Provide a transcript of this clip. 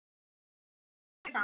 Á bassa.